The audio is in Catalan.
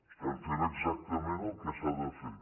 estem fent exactament el que s’ha de fer